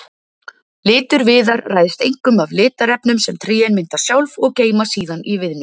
Litur viðar ræðst einkum af litarefnum sem trén mynda sjálf og geyma síðan í viðnum.